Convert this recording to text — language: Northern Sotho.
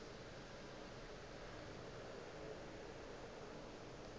yeo e be e le